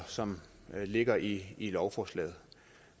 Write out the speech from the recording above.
som ligger i lovforslaget